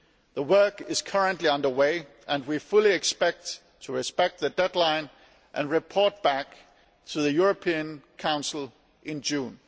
The work is currently under way, and we fully expect to respect the deadline and report back to the European Council in June.